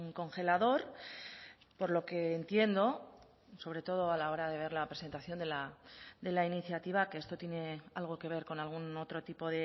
congelador por lo que entiendo sobre todo a la hora de ver la presentación de la iniciativa que esto tiene algo que ver con algún otro tipo